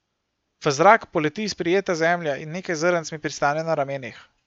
V zrak poleti sprijeta zemlja in nekaj zrnc mi pristane na ramenih.